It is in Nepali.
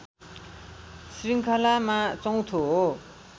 शृङ्खलामा चौँथो हो